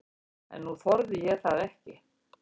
En nú þorði ég það ekki.